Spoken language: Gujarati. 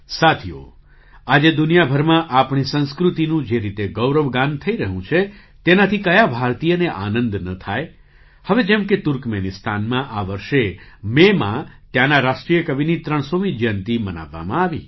સાથીઓ આજે દુનિયાભરમાં આપણી સંસ્કૃતિનું જે રીતે ગૌરવગાન થઈ રહ્યું છે તેનાથી કયા ભારતીયને આનંદ ન થાય હવે જેમ કે તુર્કમેનિસ્તાનમાં આ વર્ષે મેમાં ત્યાંના રાષ્ટ્રીય કવિની ૩૦૦મી જયંતી મનાવવામાં આવી